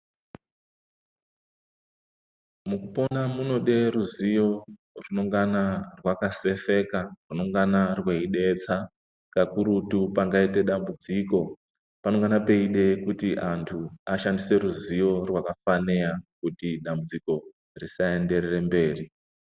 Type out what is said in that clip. Mukupona munoda ruzivo runongana rwakasefeka runongana rweidetsa kakurutu pangaite dambudziko panongana peide kuti antu ashandise ruzivo rwakafanira kuti dambudziko risaenderera mberi.